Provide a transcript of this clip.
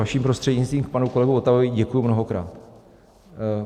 Vaším prostřednictvím, k panu kolegovi Votavovi, děkuji mnohokrát.